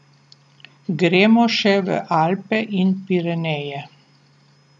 Gremo še v Alpe in Pireneje.